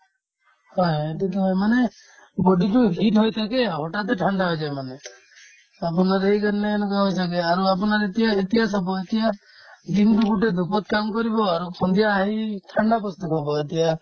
হয় হয় সেইটোতো হয় মানে body তো heat হৈ থাকে হঠাতে ঠাণ্ডা হৈ যায় মানে আপোনাৰ এই যেনে এনেকুৱা হয় ছাগে আৰু আপোনাৰ এতিয়া এতিয়া চাব এতিয়া দিনতো গোটে dhup ত কাম কৰিব আৰু সন্ধিয়া আহি ঠাণ্ডা বস্তু খাব এতিয়া